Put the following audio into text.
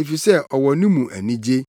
efisɛ ɔwɔ no mu anigye.”